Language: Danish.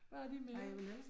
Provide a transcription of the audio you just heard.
Hvad er vi blevet